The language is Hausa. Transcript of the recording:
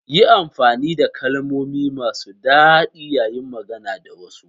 Yi amfani da kalmomi masu daɗi yayin magana da wasu.